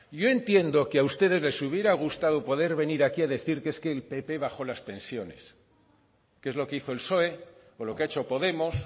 yo entiendo que a ustedes les hubiera gustado poder venir aquí a decir que es que el pp bajó las pensiones que es lo que hizo el psoe o lo que ha hecho podemos